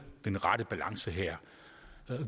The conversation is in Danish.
den rette balance her